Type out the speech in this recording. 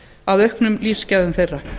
að auknum lífsgæðum þeirra